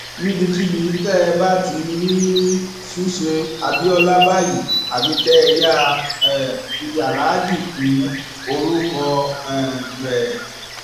níbikíbi tẹ ẹ bá ti rí rí ṣùṣe abiola báyìí àfi kẹ ẹ yáa um fi aláàjì kún orúkọ um rẹ